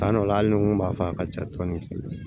Tuma dɔw la hali ni n ko b'a fɔ a ka ca dɔɔni